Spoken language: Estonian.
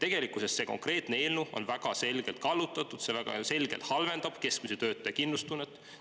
Tegelikkuses on see konkreetne eelnõu väga selgelt kallutatud, see väga selgelt halvendab keskmise töötaja kindlustunnet.